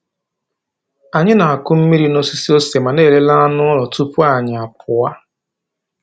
Anyị na-akụ mmiri n’osisi ose ma na-elele anụ ụlọ tupu anyị apụọ.